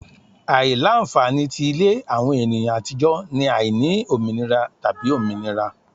Aila-nfani ti ile awọn eniyan atijọ ni aini ominira tabi ominira